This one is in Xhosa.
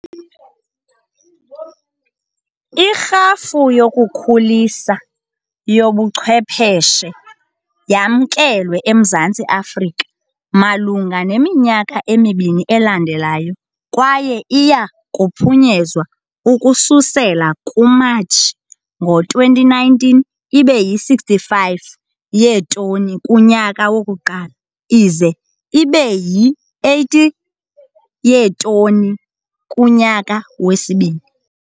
Irhafu yokukhulisa neyobuchwepheshe yamkelwe eMzantsi Afrika malunga neminyaka emibini elandelayo kwaye iya kuphunyezwa ukususela kuMatshi ngo-2019 ibe yi-65 yeetoni kunyaka wokuqala ize ibe yi-80 yeetoni kunyaka wesibini.